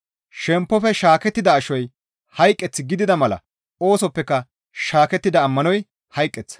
Shemppofe shaakettida ashoy hayqeth gidida mala oosoppeka shaakettida ammanoy hayqeththa.